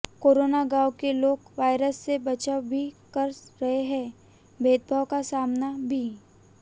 corona गांव के लोग वायरस से बचाव भी कर रहे हैं भेदभाव का सामना भी